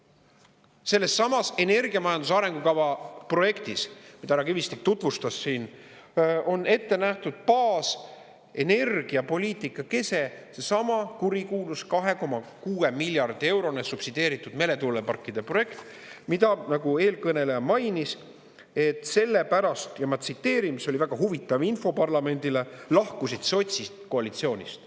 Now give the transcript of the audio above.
Sellessamas energiamajanduse arengukava projektis, mida härra Kivistik tutvustas siin, on ettenähtud baas, energiapoliitika kese, seesama kurikuulus 2,6 miljardi eurone subsideeritud meretuuleparkide projekt, mida, nagu eelkõneleja mainis: sellepärast – ma tsiteerin, mis oli väga huvitav info parlamendile – lahkusid sotsist koalitsioonist.